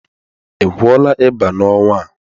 Ị gwọọla ịba n'ọnwa a?